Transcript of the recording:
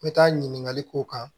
N bɛ taa ɲininkali k'o kan